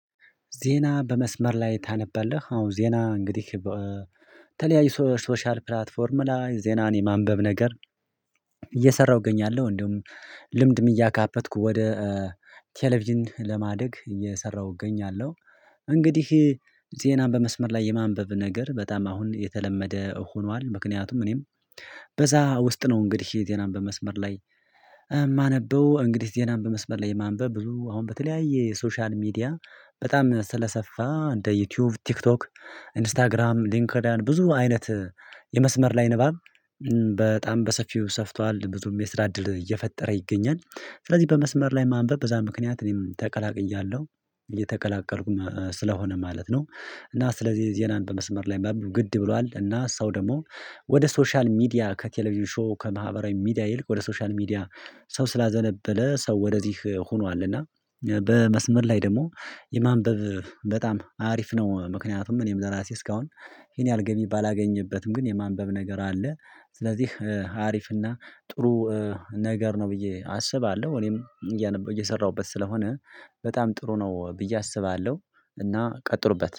ዜና በመስመር ላይ ታነበለህ? አሁን ዜና እንግዲህ በተለያዩ ሶሻል ፕላትፎርም ላይ ዜናን የማንበብ ነገር እየሰራሁ እገኛለሁ እንደውም ልምድም እያካበትኩ ወደ ቴሌቪዥን ለማደግ እየሰራሁ እገኛለሁ። እንግዲህ ዜናን በመስመር ላይ የማንበብ ነገር በጣም አሁን የተለመደ ሆኗል። ምክንያቱም እኔም በዛ ውስጥ ነው እንግዲህ የተለመደ መስመር ላይ የማነበው። እንግዲህ ዜናም በመስመር ላይ የማንበብ ብዙ አሁን በተለያየ የሶሻል ሚዲያ በጣም ስለሰፋ እንደ ዩቲዩብ፥ ቲክቶክ፥ ኢንስታግራም ሊንክድያን ብዙ አይነት የመስመር ላይ ንባብ በጣም በሰፊው ሰፍቷል። ብዙም የስራ እድል እየፈጠረ ይገኛል። ስለዚህ በመስመር ላይ ማንበብ በዛ ምክንያት እኔም ተቀላቅያለሁ እየተቀላቀልኩም ስለሆነ ማለት ነው። እና ስለዚህ ዜናን በመስመር ላይ ማንበብ ግድ ብሏል እና ሰው ደግሞ ወደ ሶሻል ሚዲያ ከቴሌቪዥን ሾው ከማህበራዊ ሚዲያ ይልቅ ወደ ሶሻል ሚዲያ ሰው ስላዘነበለ ሰው ወደዚህ ሆኗልና በመስመር ላይ ደግሞ የማንበብ በጣም አሪፍ ነው። ምክንያቱም እኔም ለራሴ እስካሁን ይሄን ያህል ገቢ ባላገኝበትም ግን የማንበብ ነገር አለ ስለዚህ አሪፍ እና ጥሩ ነገር ነው ብዬ አስባለሁ እኔም እየሰራሁበት ስለሆነ በጣም ጥሩ ነው ብዬ አስባለሁ እና ቀጥሉበት።